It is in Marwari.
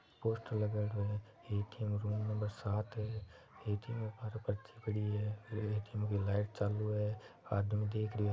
पोस्टर लगायेडो है ए_टी_एम रूम नंबर सात है ए_टी_एम के बाहर पर्ची पडी है ए_टी_एम की लाइट चालू है आदमी देख रियो --